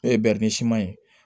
N'o ye ye